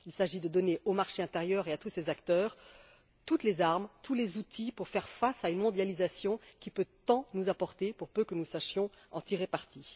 Il s'agit de donner au marché intérieur et à tous ses acteurs toutes les armes et les outils pour faire face à une mondialisation qui peut nous apporter beaucoup, pour peu que nous sachions en tirer parti.